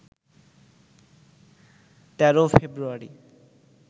১৩ফেব্রুয়ারি